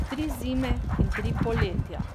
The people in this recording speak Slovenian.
Tri zime in tri poletja.